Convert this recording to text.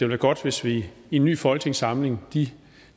være godt hvis vi i en ny folketingssamling de